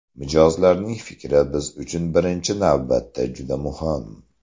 Mijozlarning fikri biz uchun birinchi navbatda juda muhim.